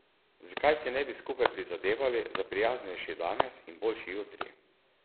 Zakaj si ne bi skupaj prizadevali za prijaznejši danes in boljši jutri?